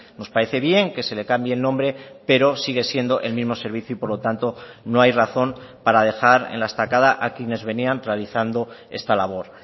nos parece bien que se le cambie el nombre pero sigue siendo el mismo servicio y por lo tanto no hay razón para dejar en la estacada a quienes venían realizando esta labor